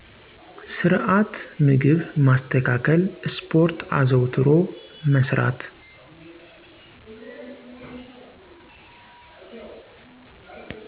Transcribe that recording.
ስርዐት ምግብ ማስተካከል ስፖርት አዘዉትሮ መስራት